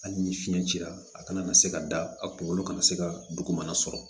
Hali ni fiɲɛ cira a kana na se ka da a kunkolo kana se ka dugumana sɔrɔ